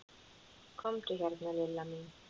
Komdu hérna Lilla mín.